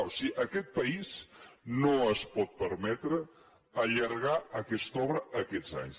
o sigui aquest país no es pot permetre allargar aquesta obra aquests anys